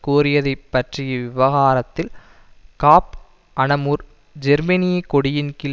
கோரியதைப் பற்றிய விவகாரத்தில் Cap Anamur ஜேர்மனியக் கொடியின்கீழ்